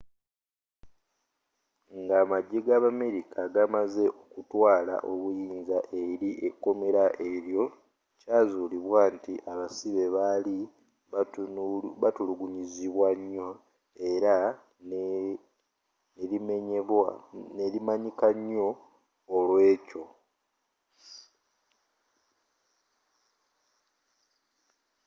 ng'amagye g'abamerika gamaze okutwala obuyinza eri ekomera elyo kyazulibwa nti abasibe bali batulugunyizibwa nyo era nelimanyika nyo olwekyo